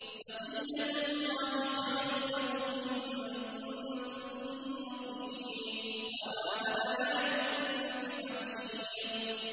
بَقِيَّتُ اللَّهِ خَيْرٌ لَّكُمْ إِن كُنتُم مُّؤْمِنِينَ ۚ وَمَا أَنَا عَلَيْكُم بِحَفِيظٍ